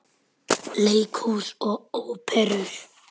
Leikhús og Óperur